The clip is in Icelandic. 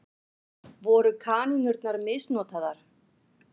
Voru kanínurnar misnotaðar?